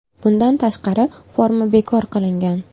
Bundan tashqari, forma bekor qilingan .